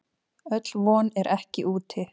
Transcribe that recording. Öll von er ekki úti.